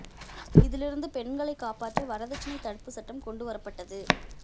இதிலிருந்து பெண்களை காப்பாற்ற வரதட்சணை தடுப்பு சட்டம் கொண்டு வரப்பட்டது